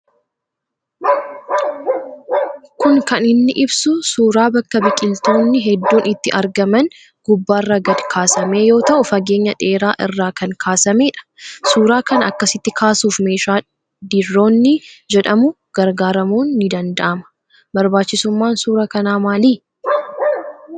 Kun kan inni ibsu suuraa bakka biqiltoonni hedduun itti argaman gubbaarra gad kaasame yoo ta'u fageenya dheeraa irraa kan kaasame dha. Suuraa kana akkasitti kaasuuf meeshaa diroonii jedhamu gargaaramuun ni danda'amaa. Barbaachisummaan suuraa kanaa maalii ?